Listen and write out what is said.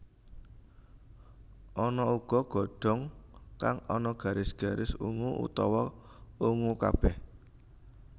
Ana uga godhong kang ana garis garis ungu utawa ungu kabéh